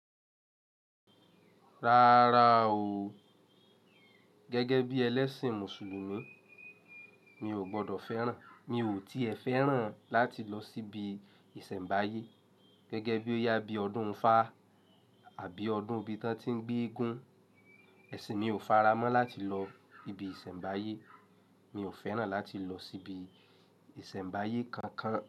Rárá o. Gẹ́gẹ́ bí ẹlẹ́sìn Mùsùlùmí, mi ò gbọdọ̀ fẹ́ràn, mi ò tí è fẹ́ràn láti lọ síbi ìsẹ̀mbáyé. Gẹ́gẹ́ bí ó yá bí ọdún ifá àbí ọdún bí tán tí ń gbéégún, ẹṣin mi ò faramọ́ láti lọ ibi ìsẹ̀mbáyé. Mi ò fẹ́ràn láti lọ síbi ìsẹ̀mbáyé kankan.